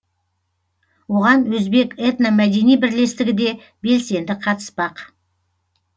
оған өзбек этномәдени бірлестігі де белсенді қатыспақ